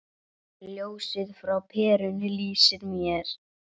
Ljósið frá perunni lýsir mér.